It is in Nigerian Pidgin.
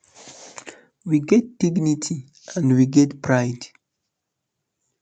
we get dignity and we get pride